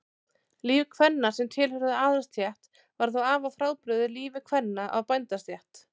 Líf kvenna sem tilheyrðu aðalsstétt var þó afar frábrugðið lífi kvenna af bændastétt.